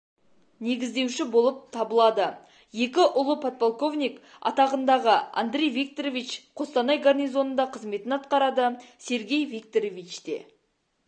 негіздеуші болып табылады екі ұлы подполковник атағындағы андрей викторович қостанай горнизонында қызметін атқарады сергей викторовичте